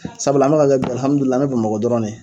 Sabula an bɛ ka bi alihamidulila an bɛ Bamakɔ dɔrɔn ne.